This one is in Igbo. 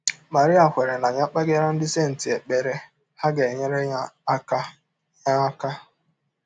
Marie kweere na ya kpegara ndị senti ekpere, ha ga - enyere ya aka. ya aka.